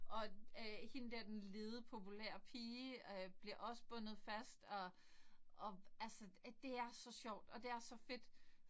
Og øh hende der den lede populære pige øh bliver også bundet fast og og altså det er så sjovt og det er så fedt